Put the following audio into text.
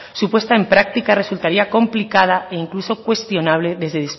su puesta en práctica resultaría complicada e incluso cuestionable